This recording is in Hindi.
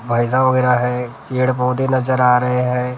भैंसा वगैरह हैं पेड़-पौधे नजर आ रहे हैं।